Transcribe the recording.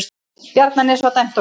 Bjarnanes var dæmt okkur!